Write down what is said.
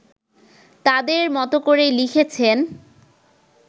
তাদের মতো করে লিখেছেন